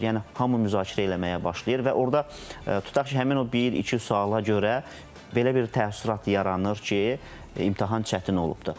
Yəni hamı müzakirə eləməyə başlayır və orda tutaq ki, həmin o bir, iki suala görə belə bir təəssürat yaranır ki, imtahan çətin olubdur.